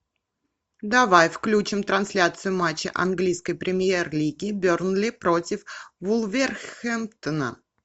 давай включим трансляцию матча английской премьер лиги бернли против вулверхэмптона